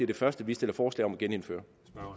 det første vi stiller forslag om at genindføre